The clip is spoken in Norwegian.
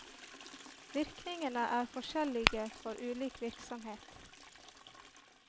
Virkningene er forskjellige for ulik virksomhet.